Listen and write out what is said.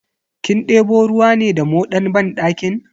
Kin debo ruwa ne da moɗan banɗakin?